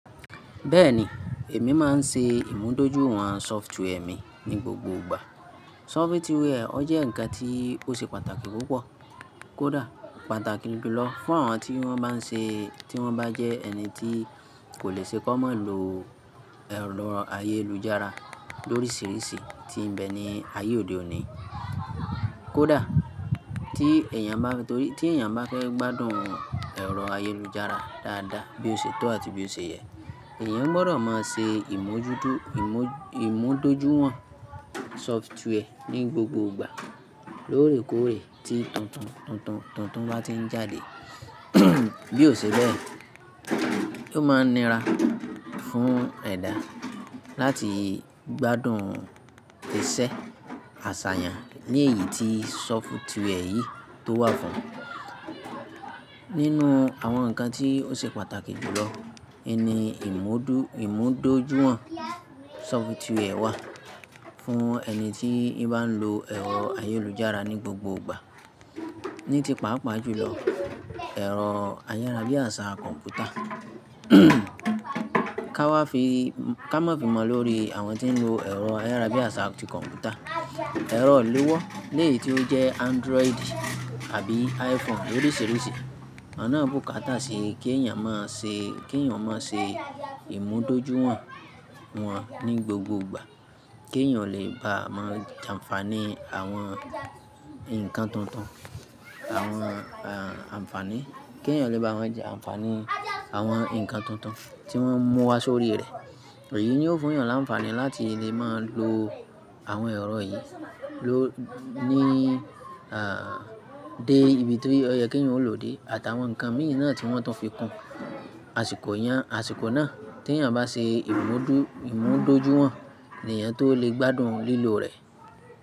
Bẹ́ẹ̀ni, èmi máa ń ṣe ìmúdójúìwọ̀n sọftware mi ní gbogbo ìgbà. Sọfituwiẹẹ ó jẹ́ ǹkan tí ó ṣe pàtàkì púpọ̀. Kódà pàtàkì jùlọ fún àwọn tí wọ́n bá ń ṣe, tí wọ́n bá jẹ ẹni tí kò le ṣe kó má lo ẹ̀rọ ayélujára lórísìírísìí tí ń bẹ ní ayé òde òní. Kódà tí èèyàn bá fẹ́ gbádùn ẹ̀rọ ayélujára dáadáa bí ó ṣe tó àti bí ó ṣe yẹ, èèyàn gbọdọ̀ máa ṣe ìmúdójúìwọ̀n sọftware ní gbogbo ìgbà lóòrèkóòrè tí tuntun bá ti ń jáde. Bí ó ṣe bẹ́ẹ̀, yóò máa nira fún ẹ̀dà láti gbádùn iṣẹ́ àṣàyàn ní èyí tí sọftware yìí tó wà fún. Nínú àwọn ǹkan tí ó ṣe pàtàkì jùlọ ni ìmúdójúìwọ̀n sọftware wà fún ẹni tí ì bá ń lo ẹ̀rọ ayélujára ní gbogbo ìgbà. Ní ti pàápàá jùlọ, ẹ̀rọ ayárabíàṣá kọ̀m̀pútà. Ká má fi mọ lórí àwọn tí ń lo ẹ̀rọ ayárabíàṣá kọ̀m̀pútà. Ẹ̀rọ ìléwọ́ eléyì tí ó jẹ́ Android àbí iPhone lórísìírísìí, àwọn ná bùkátà sí kí èèyàn má ṣe ìmúdójúìwọ̀n wọ́n ní gbogbo ìgbà kí èèyàn o lè bá má jàǹfàní àwọn jàǹfàní àwọn ǹkan tuntun tí wọ́n mú wá sórí rẹ̀. Èyí ni ó fún èèyàn láǹfàní láti lè máa lo àwọn ẹ̀rọ yìí ló ní dé ibi tí ó yẹ kí èèyàn ó lò ó dé àtàwọn ǹkan mìíràn tí wọ́n tún fi kún àsìkò náà tí ẹ̀yàn bá ṣe ìmúdójúìwọ̀n, ni èèyàn tó lè gbádùn lílò rẹ̀.